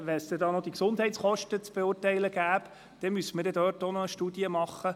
Müssten wir auch die Gesundheitskosten beurteilen, müsste dazu ebenfalls eine Studie erstellt werden.